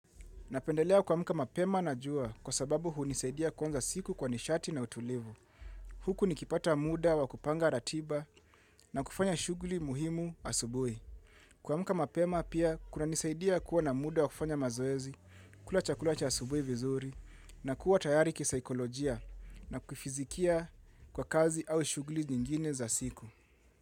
Napendelea kuamka mapema na jua kwa sababu hunisaidia kuanza siku kwa nishati na utulivu. Huku nikipata muda wa kupanga ratiba na kufanya shughuli muhimu asubuhi kuamka mapema pia kunanisaidia kuwa na muda wa kufanya mazoezi, kula chakula cha asubuhi vizuri na kuwa tayari kisaikolojia na kifizikia kwa kazi au shughuli nyingine za siku.